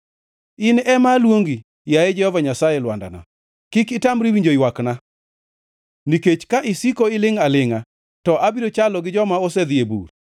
In ema aluongi, yaye Jehova Nyasaye Lwandana; kik itamri winjo ywakna. Nikech ka isiko ilingʼ alingʼa, to abiro chalo gi joma osedhi e bur.